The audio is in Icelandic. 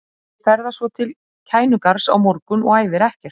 Liðið ferðast svo til Kænugarðs á morgun og æfir ekkert.